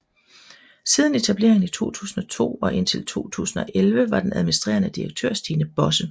Siden etableringen i 2002 og indtil 2011 var den administrerende direktør Stine Bosse